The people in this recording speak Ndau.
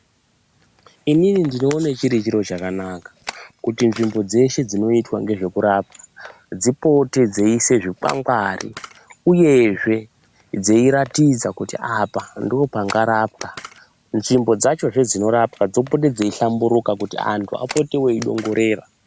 Inini ndinoona chiri chiro chakanaka kuti nzvimbo dzeshe dzinoitwa nezvekurapa dzipote dzeisa zvikwangwari uyezve dzeiratidza kuti apa ndopangarapwa nzvimbo dzacho dzinorapwa dzopetendzeihlamburuka kuti vantu vapote veidongorera.